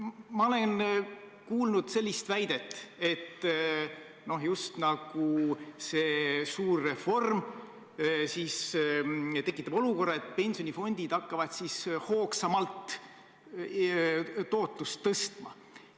Ma olen kuulnud väidet, et see suur reform tekitab olukorra, kus pensionifondid hakkavad hoogsamalt tootlust tõstma.